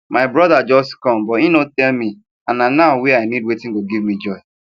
my brother just come but him no tell me and na now wey i need watin go give me joy